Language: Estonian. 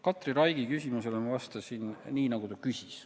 Katri Raigi küsimusele ma vastasin nii, nagu ta küsis.